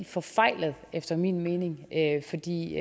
forfejlet efter min mening fordi